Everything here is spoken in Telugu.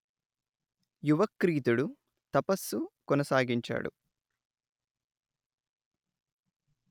యువక్రీతుడు తపస్సు కొనసాగించాడు